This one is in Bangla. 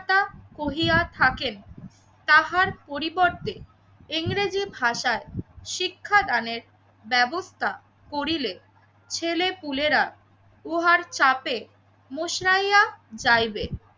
কহিরা থাকেন তাহার পরিবর্তে ইংরেজি ভাষায় শিক্ষাদানের ব্যবস্থা করিলে ছেলেপুলেরা উহার চাপে মুশরাইয়া যাইবে।